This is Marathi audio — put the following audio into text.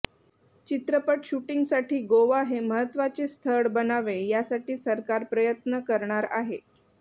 चित्रपट शुटींगसाठी गोवा हे महत्त्वाचे स्थळ बनावे यासाठी सरकार प्रयत्न करणार आहे